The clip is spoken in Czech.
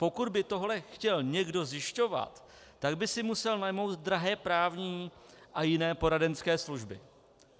Pokud by tohle chtěl někdo zjišťovat, tak by si musel najmout drahé právní a jiné poradenské služby.